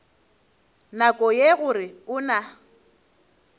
nako ye gore o na